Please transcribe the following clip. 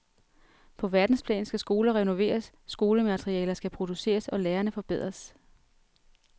På verdensplan skal skoler renoveres, skolematerialer skal produceres og lærerne forbedres.